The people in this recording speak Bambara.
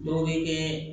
Dɔw bɛ kɛ